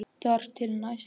Þar til næst.